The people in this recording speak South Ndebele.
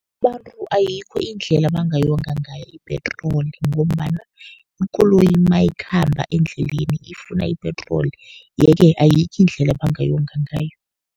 Abantu ayikho indlela bangayonga ngayo ipetroli, ngombana ikoloyi nayikhamba endleleni ifuna ipetroli. Ye-ke ayikho indlela abangayonga ngayo.